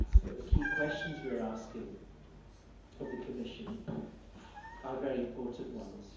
The key questions we're asking of the Commission are very important ones.